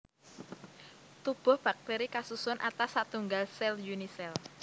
Tubuh baktéri kasusun atas satunggal sèl Unisèl